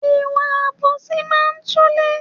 Ìwà àbòsí máa ń túlé